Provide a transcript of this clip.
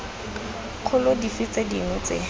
kgolo dife tse dingwe tse